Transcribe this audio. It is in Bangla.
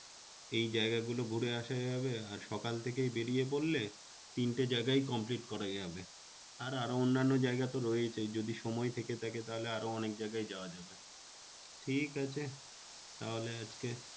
এই জায়গাগুলো ঘুরে আসা যাবে। আর সকাল থেকেই বেরিয়ে পড়লে তিনটে জায়গাই complete করা যাবে। আর আরো অন্যান্য জায়গাতো রয়েছেই। যদি সময় থেকে থাকে তাহলে আরো অনেক জায়গায় যাওয়া যাবে। ঠিক আছে তাহলে আজকে